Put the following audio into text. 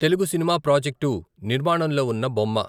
తెలుగు సినిమా ప్రాజెక్టు నిర్మాణంలో ఉన్న బొమ్మ.